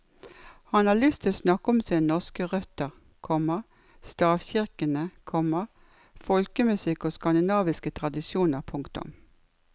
Han har lyst til å snakke om sine norske røtter, komma stavkirkene, komma folkemusikk og skandinaviske tradisjoner. punktum